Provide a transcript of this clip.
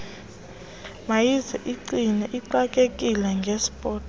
mayizigcine ixakekile ngesport